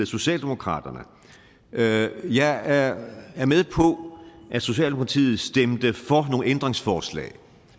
socialdemokratiet at jeg er at socialdemokratiet stemte for nogle ændringsforslag